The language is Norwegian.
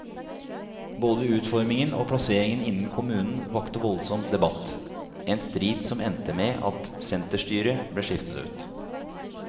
Både utformingen og plasseringen innen kommunen vakte voldsom debatt, en strid som endte med at senterstyret ble skiftet ut.